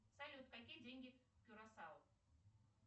салют какие деньги в кюрасао